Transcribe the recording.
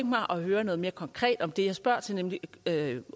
mig at høre noget mere konkret om det jeg spørger til nemlig